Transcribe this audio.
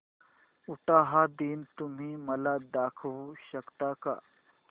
उटाहा दिन तुम्ही मला दाखवू शकता का